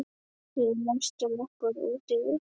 Við læstum okkur úti við